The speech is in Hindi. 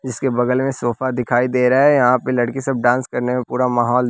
इसके बगल में सोफा दिखाई दे रहा है यहां पे लड़की सब डांस करने में पूरा माहौल--